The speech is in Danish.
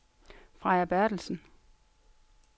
Freja Berthelsen